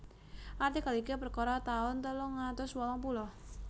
Artikel iki perkara taun telung atus wolung puluh